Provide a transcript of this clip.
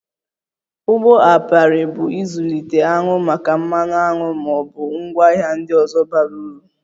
Ugbo apiarị bụ ịzụlite aṅụ maka mmanụ aṅụ ma ọ bụ ngwaahịa ndị ọzọ bara uru